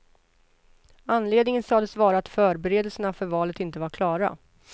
Anledningen sades vara att förberedelserna för valet inte var klara.